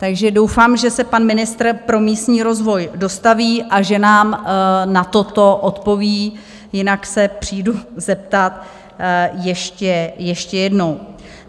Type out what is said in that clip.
Takže doufám, že se pan ministr pro místní rozvoj dostaví a že nám na toto odpoví, jinak se přijdu zeptat ještě jednou.